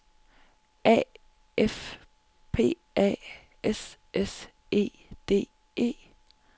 A F P A S S E D E